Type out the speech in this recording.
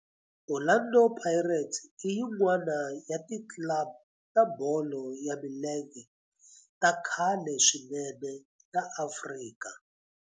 Orlando Pirates i yin'wana ya ti club ta bolo ya milenge ta khale swinene ta Afrika.